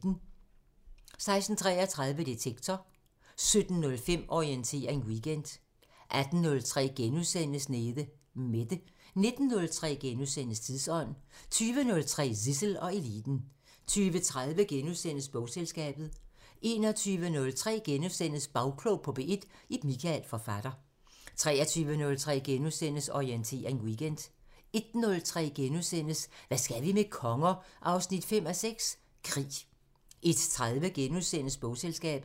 16:33: Detektor 17:05: Orientering Weekend 18:03: Nede Mette * 19:03: Tidsånd * 20:03: Zissel og Eliten 20:30: Bogselskabet * 21:03: Bagklog på P1: Ib Michael, forfatter * 23:03: Orientering Weekend * 01:03: Hvad skal vi med konger? 5:6 – Krig * 01:30: Bogselskabet *